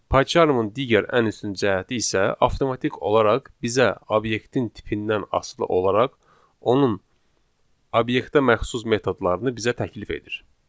Payçarmın digər ən üstün cəhəti isə avtomatik olaraq bizə obyektin tipindən asılı olaraq onun obyektə məxsus metodlarını bizə təklif edir.